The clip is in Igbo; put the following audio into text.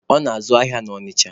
Ọ na-azụ ahịa na Ọnịcha.